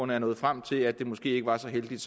nået frem til at det måske ikke var så heldigt